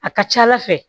A ka ca ala fɛ